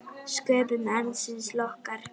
Sköpun arðsins lokkar.